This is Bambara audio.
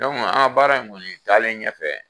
baara in kɔni taalen ɲɛfɛ